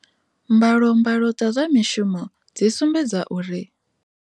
Mbalombalo dza zwa mishumo dzi sumbedza uri.